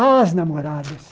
Ah, as namoradas.